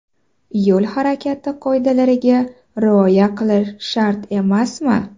Yo‘l harakati qoidalariga rioya qilish shart emasmi?.